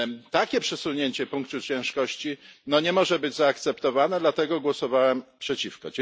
Takie przesunięcie punktu ciężkości nie może być zaakceptowane, dlatego głosowałem przeciwko.